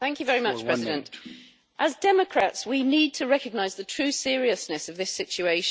Mr President, as democrats, we need to recognise the true seriousness of this situation.